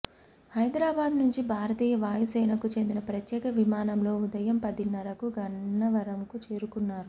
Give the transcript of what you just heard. హైదరాబాద్ నుంచి భారతీయ వాయుసేనకు చెందిన ప్రత్యేక విమానంలో ఉదయం పదిన్నరకు గన్నవరంకు చేరుకున్నారు